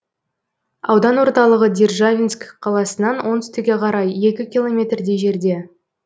аудан орталығы державинск қаласынан оңтүстікке қарай екі километрдей жерде